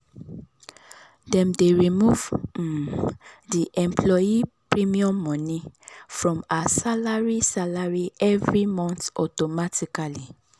dem dey remove um the employee premium money from her salary salary every month automatically.